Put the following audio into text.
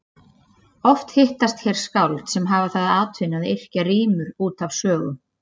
Oft hittast hér skáld sem hafa það að atvinnu að yrkja rímur út af sögum.